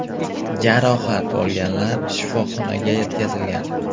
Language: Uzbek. Jarohat olganlar shifoxonaga yetkazilgan.